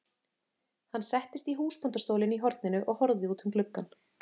Hann settist í húsbóndastólinn í horninu og horfði út um gluggann.